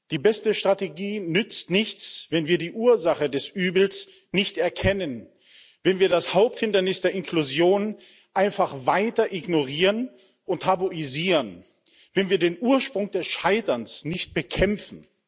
Die beste Strategie nützt nichts, wenn wir die Ursache des Übels nicht erkennen, wenn wir das Haupthindernis der Inklusion einfach weiter ignorieren und tabuisieren, wenn wir den Ursprung des Scheiterns nicht bekämpfen.